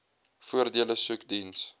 voordele soek diens